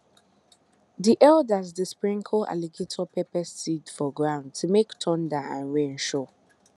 the elders dey sprinkle alligator pepper seed for ground to make thunder and rain show